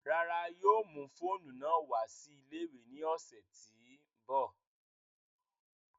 Rárá, yóò mu foonu naa wa si ile-iwe ni ọsẹ ti n bọ